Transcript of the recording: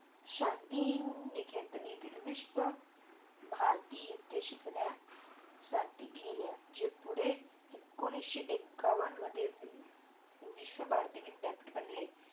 शांतिनिकेतन, विश्व भारती येते शिकण्या साठी गेल्या जे पुढे एकोणीशी एक्कावन मधे विश्व भारती विद्यार्थी बनले